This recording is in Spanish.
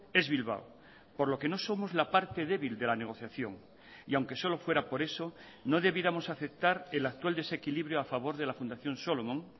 es bilbao por lo que no somos la parte débil de la negociación y aunque solo fuera por eso no debiéramos aceptar el actual desequilibrio a favor de la fundación solomon